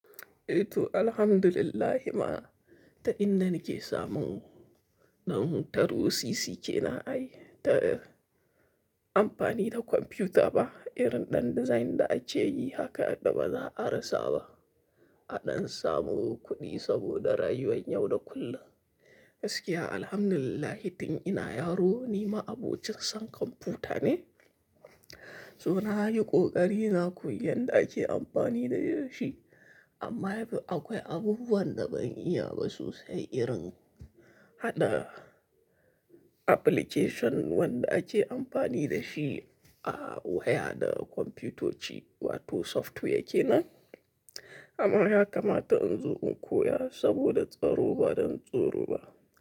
Eh to alhamdulillahi ma, ta inda na ke samun ɗan taro sisi ke nan ai ta amfani da kwamfiyuta ba, irin ɗan design da ake yi haka yadda ba za a rasa ba. A ɗan samu kuɗi saboda rayuwan yau da kullum. Gaskiya alhamdulillahi tun ina yaro ni ma abocin san kwamfiyuta ne. So na yi ƙoƙari na koyi yadda ake amfani da shi amma akwai abubuwan da ban iya ba sosai irin haɗa application wanda ake amfani da shi a waya da kwamfutoci wato software ke nan. Amma haka ma ta in zo in koya saboda tsaro ba don tsoro ba.